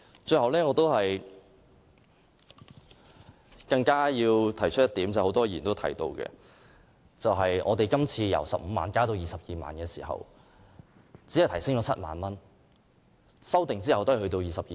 最後，我想提出一點，亦有很多議員提到，就是今次的修訂由15萬元增加至22萬元，當中只增加7萬元，在修訂生效後也只是22萬元。